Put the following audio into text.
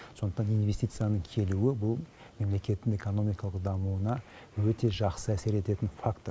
сондықтан инвестицияның келуі бұл мемлекеттің экономикалық дамуына өте жақсы әсер ететін фактор